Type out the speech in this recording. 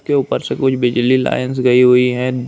के ऊपर से कुछ बिजली लाईनस गई हुई है।